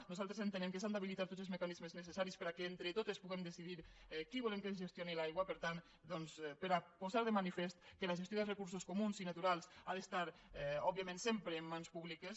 nosaltres entenem que s’han d’habilitar tots els mecanismes necessaris perquè entre totes puguem decidir qui volem que ens gestioni l’aigua per tant doncs per a posar de manifest que la gestió dels recursos comuns i naturals ha d’estar òbviament sempre en mans públiques